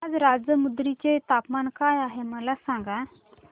आज राजमुंद्री चे तापमान काय आहे मला सांगा